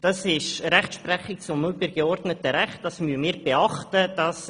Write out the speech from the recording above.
Dabei handelt es sich um die Rechtsprechung des übergeordneten Rechts, welche wir beachten müssen.